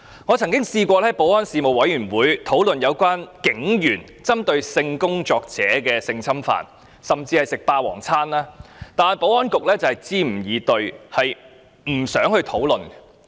我曾在保安事務委員會提出討論有關警員性侵犯性工作者及"食霸王餐"的問題，但保安局卻支吾以對，不願討論。